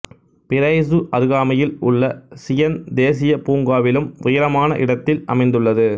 price அருகாமையில் உள்ள Zion தேசியப் பூங்காவிலும் உயரமான இடத்தில் அமைந்துள்ளது